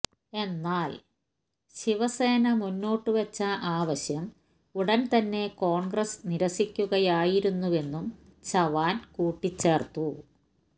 എന്നാൽ ശിവസേന മുന്നോട്ടുവെച്ച ആവശ്യം ഉടൻ തന്നെ കോൺഗ്രസ് നിരസിക്കുകയായിരുന്നുവെന്നും ചവാൻ കൂട്ടിച്ചേർത്തു